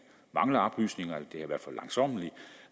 mangler oplysninger